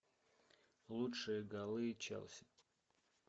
лучшие голы челси